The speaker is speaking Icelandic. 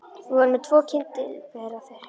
Við vorum með tvo kyndilbera, þeir heita